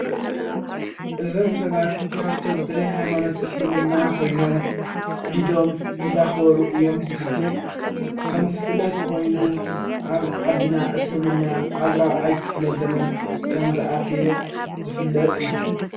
እዞም ሰባት ተኸተልt ኃይማኖት እስልምና ኾይኖም ዒዶም እንዳኸወሩ እዮም ዝግነ ከምዘፍለጥ ኾይኑ ኣብ ዓድና እስልምና ኣብራዓይ ክፍለት ዘመን ከም ዝኣትየ ዝፍለጥ እዩ::